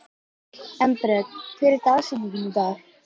Hafið þið ekkert pælt í því?